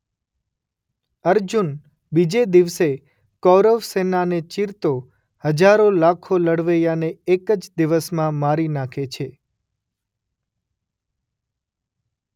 અર્જુન બીજે દિવસે કૌરવ સેનાને ચીરતો હજારો લાખો લડવૈયાને એકજ દિવસમાં મારી નાખે છે.